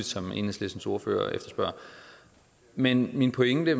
som enhedslistens ordfører efterspørger men min pointe